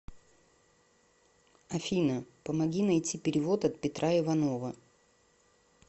афина помоги найти перевод от петра иванова